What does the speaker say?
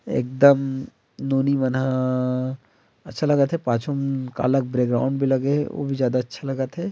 एकदम नोनी मन हा अच्छा लगत हे पाछु म काला के बैक ग्राउंड भी लगे हे ओ भी ज्यादा अच्छा लगत हे।